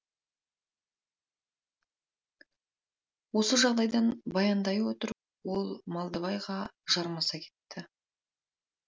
осы жағдайын баяндай отырып ол малдыбайға жармаса кетті